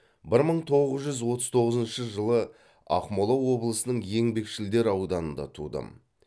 бір мың тоғыз жүз отыз тоғызыншы жылы ақмола облысының еңбекшілдер ауданында тудым